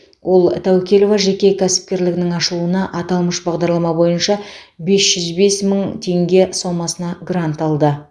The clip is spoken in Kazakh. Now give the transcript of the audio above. ол тәукелова жеке кәсіпкерлігінің ашылуына аталмыш бағдарлама бойынша бес жүз бес мың теңге сомасына грант алды